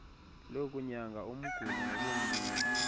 lokunyanga umguli ngokumnika